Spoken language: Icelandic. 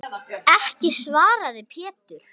Ekki, svaraði Pétur.